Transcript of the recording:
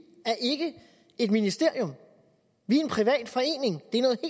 er ikke et ministerium vi er en privat forening